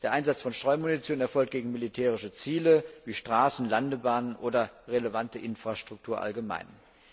Der Einsatz von Streumunition erfolgt gegen militärische Ziele wie Straßen, Landebahnen oder relevante Infrastruktur allgemein.